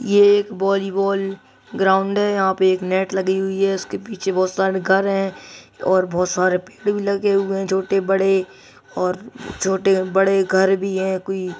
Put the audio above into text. ये एक volleyball ground है यहां पे एक नेट लगी हुई है उसके पीछे बहुत सारे घर है और बहुत सारे पेड़ भी लगे हुए हैं छोटे बड़े और छोटे बड़े घर भी है कोई--